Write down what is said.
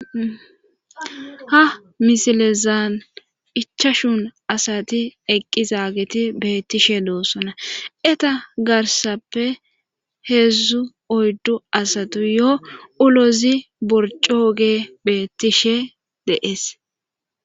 Ha misilezaan ichashun asati eqqizaageti beettishe loossona eta garsappe heedzdzu oyddu asatu yo ulozi borcooge beettishe deees.